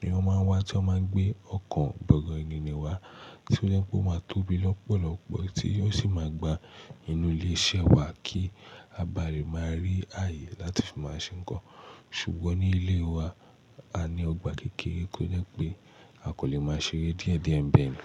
ni wọ́n máa ń wá tí wọ́n máa gbé ọkọ̀ bọ̀gìnnì wá tí ó jẹ́ pé ó máa tóbi lọ́pọ̀lọpọ̀ tí ó sì máa gba inú ilé iṣẹ́ wa kí a bá lè máa rí ààyè láti fi máa ṣe ńkan. Ṣùgbọ́n ní ilé wa, a ní ọgbà kékeré tí ó jẹ́ pé a kò lè máa ṣeré díẹ̀díẹ̀ nibe ni.